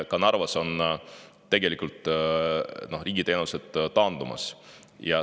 Ka Narvas on tegelikult riigi teenused taandumas.